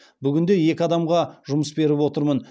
бүгінде екі адамға жұмыс беріп отырмын